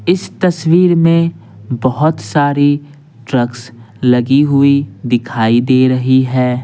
इस तस्वीर में बहुत सारी ट्रक्स लगी हुई दिखाई दे रही है।